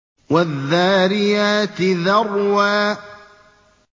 وَالذَّارِيَاتِ ذَرْوًا